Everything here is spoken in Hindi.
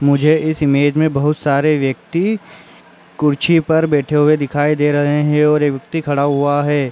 मुझे इस इमेज में बहौत सारे व्यक्ति कुर्सी पर बैठे हुए दिखाई दे रहे हैं और एक व्यक्ति खड़ा हुआ है।